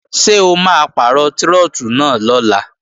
Ṣé o máa pàrọ̀ trọ́tù náà lọ́la?